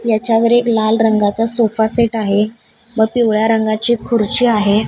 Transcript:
याच्यावर एक लाल रंगाचा सोपासेट आहे व पिवळ्या रंगाची खुर्ची आहे.